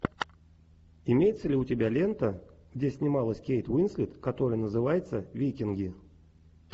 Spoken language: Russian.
имеется ли у тебя лента где снималась кейт уинслет который называется викинги